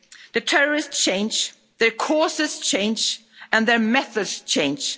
ETA. The terrorists change, their causes change and their methods change.